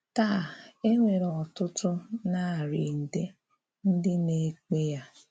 Tāà, e nwere ọ̀tụ̀tụ̀ narị nde ndị na-ekpé ya.